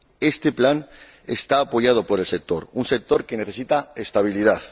Este plan está apoyado por el sector, un sector que necesita estabilidad.